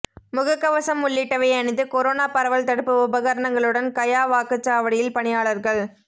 முக கவசம் உள்ளிட்டவை அணிந்து கொரோனா பரவல் தடுப்பு உபகரணங்களுடன் கயா வாக்குச்சாவடியில் பணியாளர்கள்